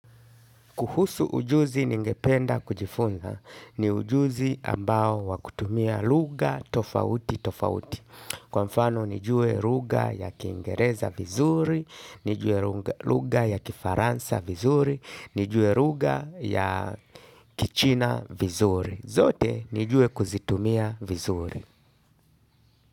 Kuhusu ujuzi ningependa kujifunza ni ujuzi ambao wakutumia lugha tofauti tofauti. Kwa mfano nijue lugha ya kiingereza vizuri, nijue lugha ya kifaransa vizuri, nijue lugha ya kichina vizuri. Zote nijue kuzitumia vizuri.